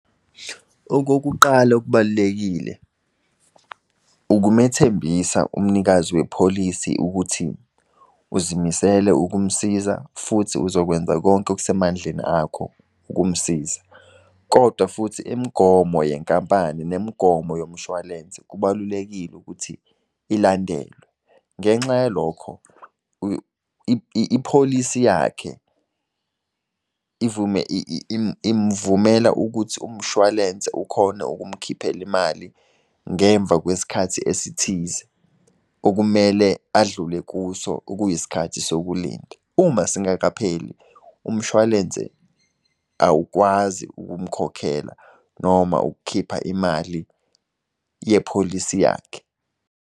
Okokuqala okubalulekile, ukumethembisa umnikazi wepholisi ukuthi, uzimisele ukumsiza futhi uzokwenza konke okusemandleni akho ukumsiza. Kodwa futhi imigomo yenkampani nemigomo yomshwalense kubalulekile ukuthi ilandelwe, ngenxa yalokho ipholisi yakhe imuvumela ukuthi umshwalense ukhone ukumkhiphela imali ngemva kwesikhathi esithize okumele adlule kuso, okuyisikhathi sokulinda. Uma singakapheli, umshwalense awukwazi ukumkhokhela noma ukukhipha imali yepholisi yakhe.